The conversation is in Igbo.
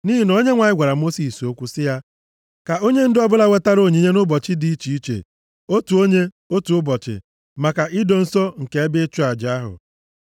Nʼihi na Onyenwe anyị gwara Mosis okwu sị, “Ka onyendu ọbụla weta onyinye nʼụbọchị dị iche iche, otu onye, otu ụbọchị, maka ido nsọ nke ebe ịchụ aja ahụ.”